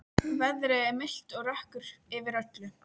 Veðrið er milt og rökkur yfir öllu.